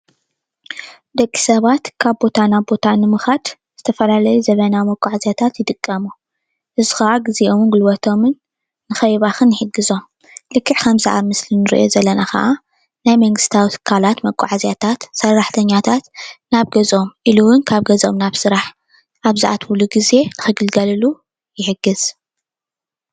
ደቂ ሰባት ካብ ቦታ ናብ ቦታ ንምካድ ዝተፈላለዩ ዘመናዊ መጋዓዝያታት ይጥቀሙ፡፡ እዚ ከዓ ግዚኦምን ጉልበቶምን ንከይባክን ይሕግዞም፡፡ ልክዕ ከም ኣብዛ ምስሊ እንሪኦ ዘለና ከኣ ናይ መንግስታዊ ትካላት መጋዓዝያታት ሰራሕተኛታት ናብ ገዝኦም ኢሉ እውን ካብ ገዝኦም ናብ ስራሕ ኣብ ዝኣትውሉ ግዜ ንክግልገልሉ ይሕግዝ፡፡